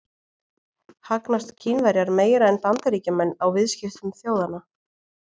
Hagnast Kínverjar meira en Bandaríkjamenn á viðskiptum þjóðanna?